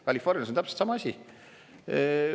Californias on täpselt sama asi.